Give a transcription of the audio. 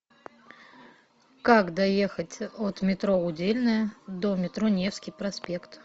как доехать от метро удельное до метро невский проспект